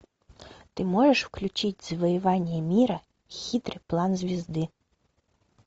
ты можешь включить завоевание мира хитрый план звезды